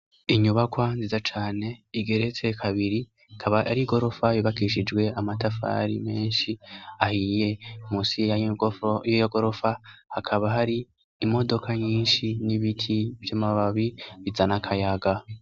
Inyubakwa nziza cane igeretse, kabiri ikaba ari igorofa yubakishijwe amatafari menshi ahiye. Munsi y'iyo gorofa hakaba hari imodoka nyinshi n'ibiti vy'amababi bizana akayaga.